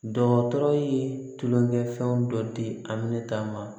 Dɔgɔtɔrɔ ye tulonkɛ fɛnw dɔ di aminata ma